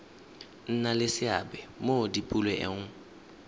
nna le seabe mo dipoelong